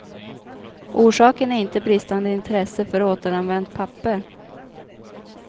Orsaken är inte bristande intresse för återanvänt papper.